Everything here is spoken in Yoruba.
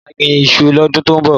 Má gbín iṣu lọ́dún tọ́ ń bọ̀.